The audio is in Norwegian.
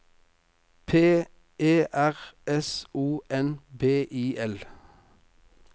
P E R S O N B I L